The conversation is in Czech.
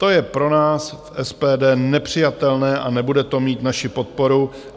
To je pro nás v SPD nepřijatelné a nebude to mít naši podporu.